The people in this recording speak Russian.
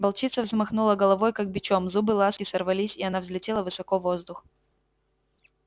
волчица взмахнула головой как бичом зубы ласки сорвались и она взлетела высоко в воздух